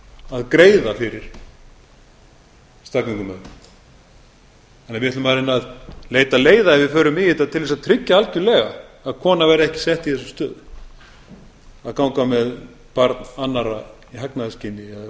að greiða fyrir staðgöngumæðrun þannig að við ætlum að reyna að leita leiða ef við förum í þetta til að tryggja algerlega að kona verði ekki sett í þessa stöðu að ganga með barn annarra í hagnaðarskyni eða